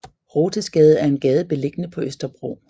Rothesgade er en gade beliggende på Østerbro